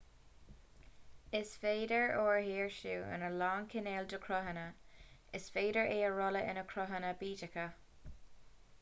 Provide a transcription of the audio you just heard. is féidir ór a shaoirsiú in a lán cineál de chruthanna is féidir é a rolladh ina gcruthanna bídeacha